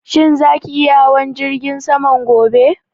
Shin za ki iya hawan jirgin saman gobe?